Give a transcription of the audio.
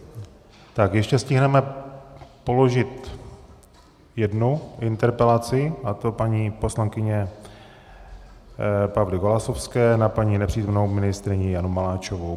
Tak ještě stihneme položit jednu interpelaci, a to paní poslankyně Pavly Golasowské na paní nepřítomnou ministryni Janu Maláčovou.